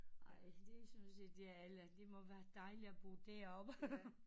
Ej det synes jeg det er eller det må være dejligt at bo derovre